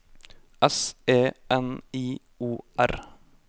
S E N I O R